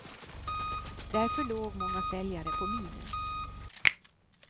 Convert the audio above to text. Därför låg många säljare på minus.